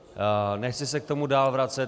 Nechci se k tomu dál vracet.